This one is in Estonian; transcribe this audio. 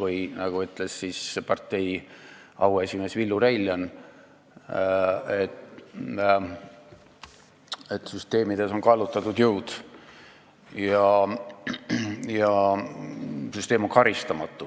või nagu on öelnud partei auesimees Villu Reiljan, et süsteemides on kallutatud jõud ja süsteem on karistamatu.